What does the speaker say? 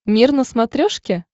мир на смотрешке